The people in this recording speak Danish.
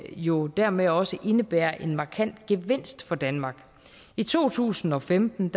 jo dermed også indebærer en markant gevinst for danmark i to tusind og femten